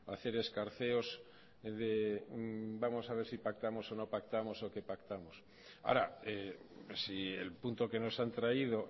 hacer escarceos de vamos a ver si pactamos o no pactamos o qué pactamos ahora si el punto que nos han traído